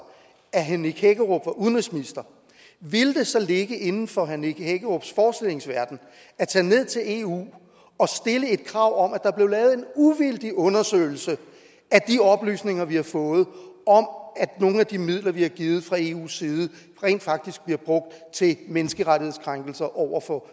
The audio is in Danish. at herre nick hækkerup var udenrigsminister ville det så ligge inden for herre nick hækkerups forestillingsverden at tage ned til eu og stille et krav om at der blev lavet en uvildig undersøgelse af de oplysninger vi har fået om at nogle af de midler vi har givet fra eus side rent faktisk bliver brugt til menneskerettighedskrænkelser over for